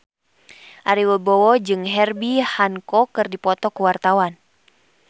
Ari Wibowo jeung Herbie Hancock keur dipoto ku wartawan